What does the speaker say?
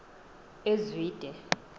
ezwide